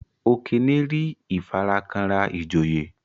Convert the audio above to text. Okene rí ifarakanra ijoye.